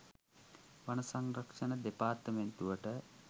වන සංරක්ෂණ දෙපාර්තමේන්තුවට